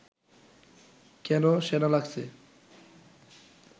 কেন সেনা লাগছে